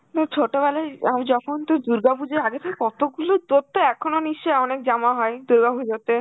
হম ছোটবেলায় আমি যখন~ তোর দুর্গাপুজোর আগে সেই কত গুলো, তোর তো এখনো নিশ্চয়ই অনেক জামা হয় দুর্গা পুজোতে?